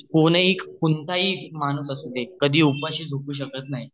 कोणीही कोणताही माणूस असू दे कधी उपाशी झोपू शकत नाही